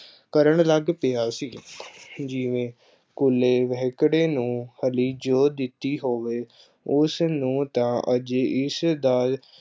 ਕਰਨ ਲੱਗ ਪਿਆ ਸੀ ਜਿਵੇਂ ਕੂਲੇ ਵਹਿਕੜੇ ਨੂੰ ਹਲੀਂ ਜੋਅ ਦਿੱਤੀ ਹੋਵੇ, ਉਸ ਨੂੰ ਤਾਂ ਅਜੇ ਇਸ ਦਾ